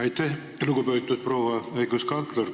Aitäh, lugupeetud proua õiguskantsler!